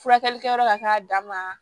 Furakɛli kɛyɔrɔ ka k'a dama